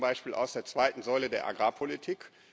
Das geht zum Beispiel aus der zweiten Säule der Agrarpolitik.